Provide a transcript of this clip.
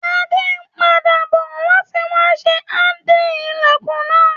Adé n padà bo láti wa sé handle ilẹ́kùn náà